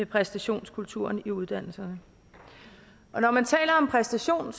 præstationskulturen i uddannelserne når man taler om præstation